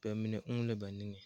ba mine uu la ba niŋe.